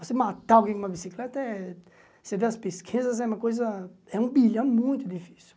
Você matar alguém com uma bicicleta é... Você vê as pesquisas, é uma coisa... É um bilhão, é muito difícil.